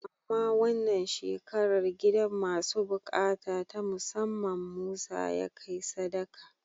Amma wannan shekarar gidan masu buƙata ta musamman Musa ya kai sadaka.